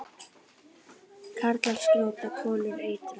Karlar skjóta, konur eitra.